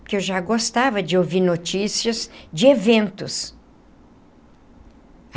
Porque eu já gostava de ouvir notícias de eventos.